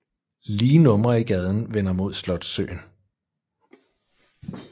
Lige numre i gaden vender mod Slotssøen